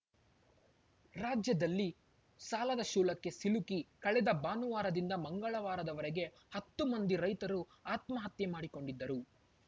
ರಾಜ್ಯದಲ್ಲಿ ಸಾಲದ ಶೂಲಕ್ಕೆ ಸಿಲುಕಿ ಕಳೆದ ಭಾನುವಾರದಿಂದ ಮಂಗಳವಾರದವರೆಗೆ ಹತ್ತು ಮಂದಿ ರೈತರು ಆತ್ಮಹತ್ಯೆ ಮಾಡಿಕೊಂಡಿದ್ದರು